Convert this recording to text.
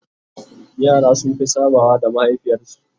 yara sun Fi sabawa da mahaifiyar su